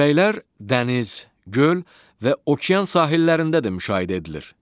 Küləklər dəniz, göl və okean sahillərində də müşahidə edilir.